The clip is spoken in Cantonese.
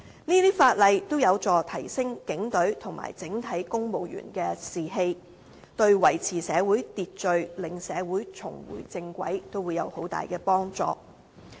這些法例均有助提升警隊和整體公務員的士氣，對維持社會秩序、令社會重回正軌也會有很大的幫助。